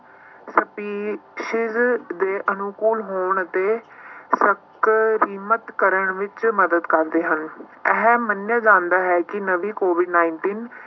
species ਦੇ ਅਨੁਕੂਲ ਹੋਣ ਅਤੇ ਸਕਰਮਿਤ ਕਰਨ ਵਿੱਚ ਮਦਦ ਕਰਦੇ ਹਨ ਇਹ ਮੰਨਿਆ ਜਾਂਦਾ ਹੈ ਕਿ ਨਵੀਂ COVID nineteen